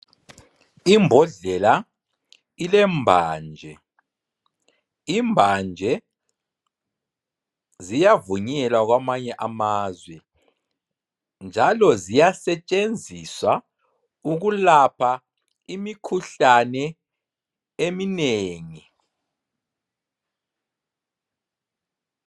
lmbodlela ilembanje, imbanje ziyavunyelwa kwamanye amazwe njalo ziyasetshenziswa ukulapha imikhuhlane eminengi.